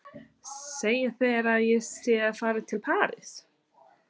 Segja þeir að ég sé að fara til París?